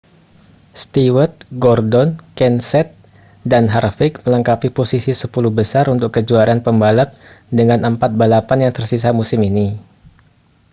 stewart gordon kenseth dan harvick melengkapi posisi sepuluh besar untuk kejuaraan pembalap dengan empat balapan yang tersisa musim ini